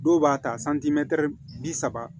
Dɔw b'a ta bi saba